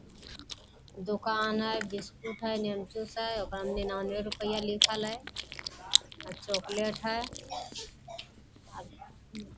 दुकान है बिस्कुट है लेमन चूस है ओकरा में निन्यानबे रुपया लिखल है चॉकलेट